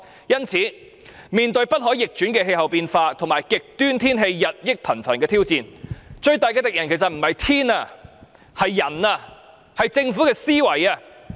因此，面對不可逆轉的氣候變化及極端天氣日益頻繁的挑戰，我們最大的敵人不是天氣而是人類，是政府的思維。